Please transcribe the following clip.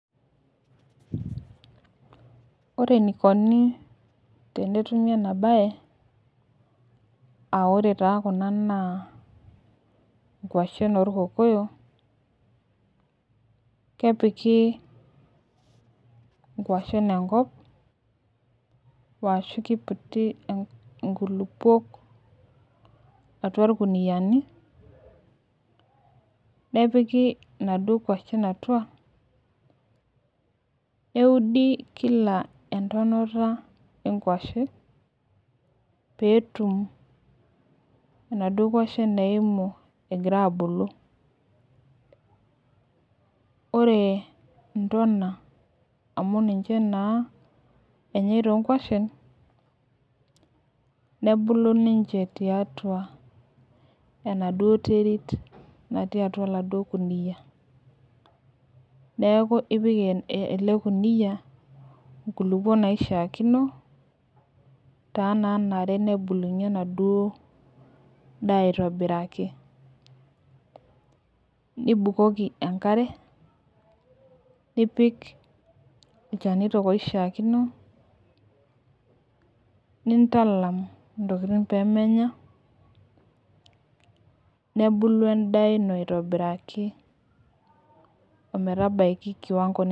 Ore eneikoni tenetumi ena baye, aa ore taa kuna naa inkwashen oolkokoyo, kepiki inkwashen enkop o ashu keiputi inkulukwok atua ilkuniyani, nepiki inadauo kwashen atua, neudi kila tonata e nkwashen, peetum enaduo kwashen neimu egirea abulu. Ore intona amu ninche naa enyai toonkwashen, nebululu ninche tiatua enaduo terit natii atua oladuo kuniya. Neaku ipik ele kuniya inkulukuok naishaakino, taa naanare nebulunye enaduo daa aitobiraki, nibukoki enkare, nipik ilchanito oishaakino, nintalam intokitin pee menya, nebulu endaa ino aitobiraki, ometabaiki kiwang'o naaji.